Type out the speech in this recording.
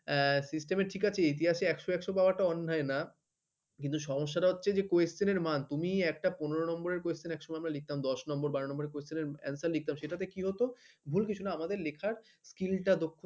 এ system ঠিক আছি ইতিহাসে একশ একশ পাওয়াটা অন্যায় না কিন্তু সমস্যাটা হচ্ছে যে question এর মান তুমি একটা পনের নম্বরের question একসময়ই লিখতাম দশ number বার number question answer র লিখতাম সেটা তোতে কি হত ভুল কিছু না আমাদের লেখার skill টা দক্ষ ।